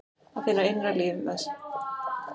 Að finna innra með sér líf.